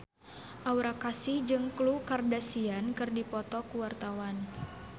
Aura Kasih jeung Khloe Kardashian keur dipoto ku wartawan